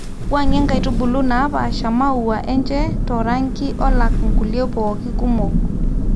wuangie nkaitubulu napaasha maua enche to rangi alak nkulie pooki kumok